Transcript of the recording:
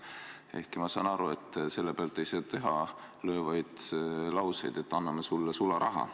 Ehkki ma saan aru, et selle pealt ei saa teha selliseid löövaid lauseid, et anname sulle sularaha.